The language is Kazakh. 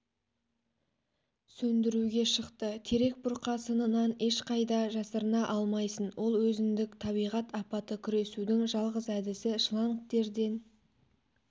сөндіруге шықты терек бұрқасынынан ешқайда жасырына алмайсын ол өзіндік табиғат апаты күресудің жалғыз әдісі шлангтерден